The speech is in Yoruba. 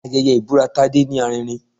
Ayẹyẹ ibura Tádé ní arinrin